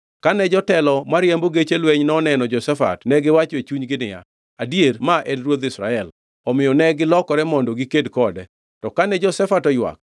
Kane jotelo mariembo geche lweny noneno Jehoshafat negiwacho e chunygi niya, “Adier ma en ruodh Israel.” Omiyo negilokore mondo giked kode, to kane Jehoshafat oywak,